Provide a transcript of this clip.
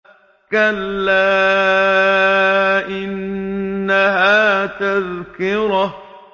كَلَّا إِنَّهَا تَذْكِرَةٌ